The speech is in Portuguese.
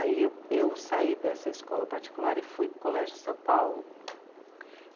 Aí eu... eu saí dessa escola particular e fui para o Colégio São Paulo.